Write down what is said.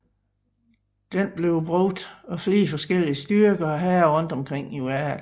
Den bliver brugt af flere forskellige styrker og hære rundt omkring i verden